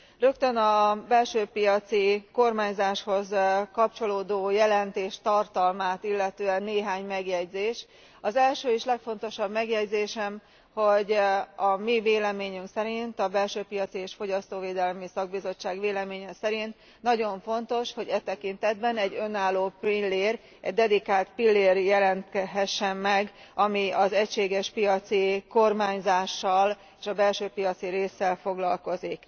Rögtön a belső piaci kormányzáshoz kapcsolódó jelentés tartalmát illetően néhány megjegyzés Az első és legfontosabb megjegyzésem, hogy a mi véleményünk szerint a Belső piaci és Fogyasztóvédelmi Szakbizottság véleménye szerint nagyon fontos, hogy e tekintetben egy önálló pillér, egy dedikált pillér jelenhessen meg, ami az egységes piaci kormányzással és a belső piaci résszel foglalkozik.